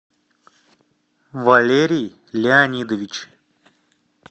валерий леонидович